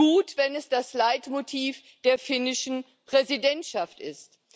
Gut, wenn es das Leitmotiv der finnischen Präsidentschaft ist.